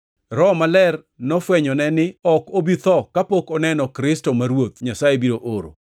Roho Maler nofwenyone ni ok obi tho kapok oneno Kristo ma Ruoth Nyasaye biro oro.